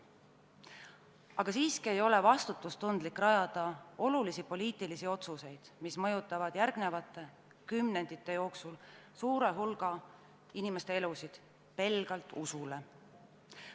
Aga siiski ei ole vastutustundlik rajada olulisi poliitilisi otsuseid, mis mõjutavad järgmiste kümnendite jooksul suure hulga inimeste elusid, pelgalt usule.